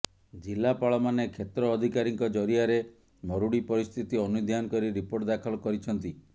ଜିଲାପାଳମାନେ କ୍ଷେତ୍ର ଅଧିକାରୀଙ୍କ ଜରିଆରେ ମରୁଡ଼ି ପରିସ୍ଥିତି ଅନୁଧ୍ୟାନ କରି ରିପୋର୍ଟ ଦାଖଲ କରିଛନ୍ତି